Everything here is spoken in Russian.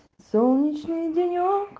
солнечные денёк